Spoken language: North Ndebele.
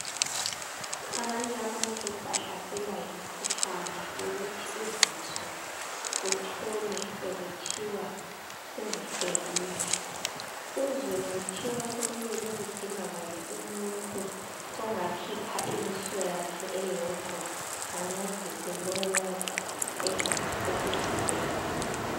Abanye abantu bahlaselwa yimikhuhlane yokuthi izinso uthole sekuthiwa sezi failure uzwe kuthiwa sokumele kudingakale umuntu ongakhipha inso yakhe eyodwa ancedise lowo zakhe esezi feyilile.